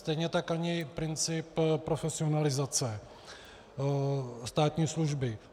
Stejně tak ani princip profesionalizace státní služby.